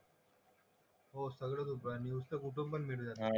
हो सगळं आहे न्यूज तर कुठून पण मिळून जाते.